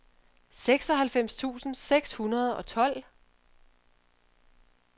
seksoghalvfems tusind seks hundrede og tolv